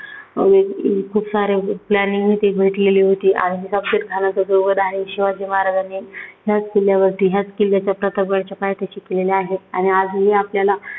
अं खूप अं साऱ्या planning ते भेटलेली होती. आणि अफजलखानाचा जो वध आहे, शिवाजी महाराजांनी ह्याच किल्ल्यावरती, ह्याच किल्ल्याच्या प्रताप गडाच्या पायथ्याशी केलेला आहे. आणि आजही आपल्याला